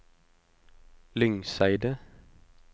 Lyngseidet